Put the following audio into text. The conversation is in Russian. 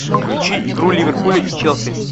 включи игру ливерпуля и челси